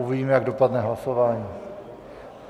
Uvidíme, jak dopadne hlasování.